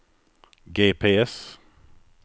GPS